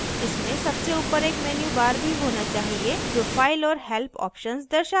इसमें सबसे ऊपर एक menu bar भी होना चाहिए जो file और help options दर्शाता है